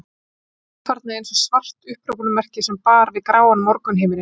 Hann stóð þarna eins og svart upphrópunarmerki sem bar við gráan morgunhimininn.